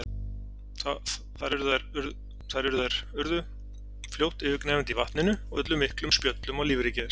Þar urðu þær urðu fljótt yfirgnæfandi í vatninu og ullu miklum spjöllum á lífríki þess.